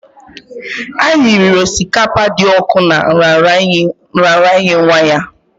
Anyị riri osikapa dị ọkụ na nraranye nwa ya